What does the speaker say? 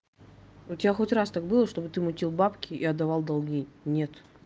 у тебя хоть раз так было чтобы ты мутил бабки и отдавал долги нет